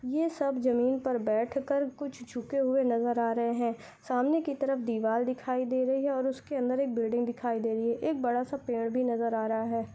ये सब जमीन पर बैठकर कुछ झुके हुए नजर आ रहे हैं सामने की तरफ दीवार दिखाई दे रही है और उसके अंदर एक बिल्डिंग दिखाई दे रही है एक बड़ा सा पेड़ भी नजर आ रहा है।